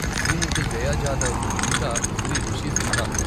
శ్రీమతి జయా జాదవ్, ఇంకా శ్రీ రిషీ సిన్హా.